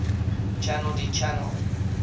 channel d channel